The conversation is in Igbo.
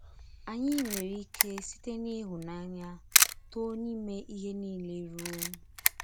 Ányí nwerè íké “sīte n’ịhụ́nànyà tóó n’ímè íhè niile rùo...”